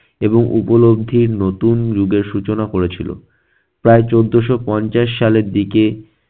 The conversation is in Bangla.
এবং উপলব্ধির নতুন যুগের সূচনা করেছিল। প্রায় চোদ্দোশো পঞ্চাশ সালের দিকে-